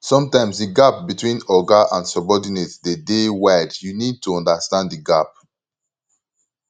sometimes di gap between oga and subordinate dey dey wide you need to understand di gap